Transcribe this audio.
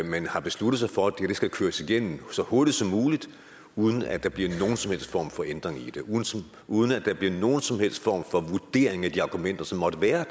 man har besluttet sig for at dette skal køres igennem så hurtigt som muligt uden at der bliver nogen som helst form for ændring i det uden at der bliver nogen som helst form for vurdering af de argumenter som måtte være